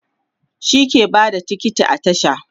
shi ke Bada tiket a tasha